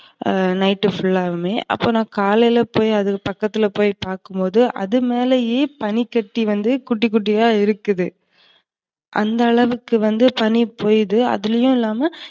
அ night full ஆவுமே. அப்ப நான் காலையில போய் அது பக்கத்துல போய் பாக்கும்போது அதுமேலையே பனிக்கட்டி வந்து குட்டி, குட்டியா இருக்குது. அந்த அளவுக்கு வந்து பனி பெய்யிது அதுமட்டும் இல்லாம